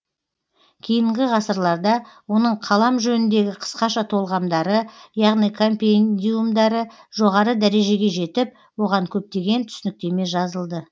кейінгі ғасырларда оның қалам жөніндегі қысқаша толғамдары яғни компендиумдары жоғары дәрежеге жетіп оған көптеген түсініктеме жазылды